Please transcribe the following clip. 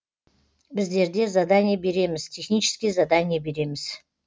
біздерде задание береміз технический задание береміз